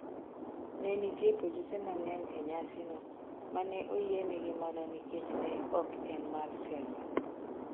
Ne nitie polise mang'eny e nyasino, ma ne oyienegi mana nikech ne ok en mar siasa.